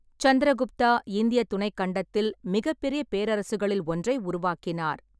சந்திரகுப்தா இந்திய துணைக் கண்டத்தில் மிகப்பெரிய பேரரசுகளில் ஒன்றைக் உருவாக்கினார்.